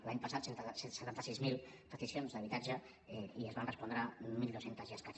l’any passat cent i setanta sis mil peti cions d’habitatge i se’n van respondre mil dos cents i escaig